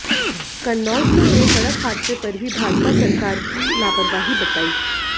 कन्नौज में हुए सड़क हादसे पर भी भाजपा सरकार की लापरवाही बताई